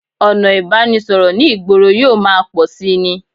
Ọ̀nà ìbánisọ̀rọ̀ ní ìgboro yóò máa pọ̀ síi ni